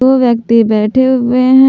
दो व्यक्ति बैठे हुए हैं।